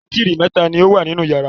Bátírí mẹ́ta ni ó wà nínú ìyàrá.